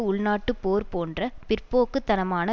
உள்நாட்டுப் போர் போன்ற பிற்போக்கு தனமான